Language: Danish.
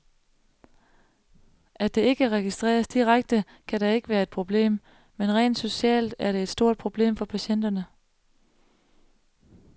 At det ikke registreres direkte, kan da ikke være et problem, men rent socialt er det et stort problem for patienterne.